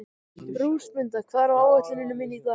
Rósmunda, hvað er á áætluninni minni í dag?